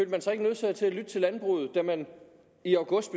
man sig ikke nødsaget til at lytte til landbruget da man i august